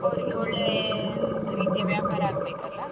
ಅವ್ರಿಗೂ ಒಳ್ಳೆಯ ರೀತಿಯ ವ್ಯಾಪಾರ ಆಗ್ಬೇಕಲ್ಲಾ.